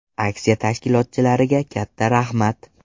Aksiya tashkilotchilariga katta rahmat!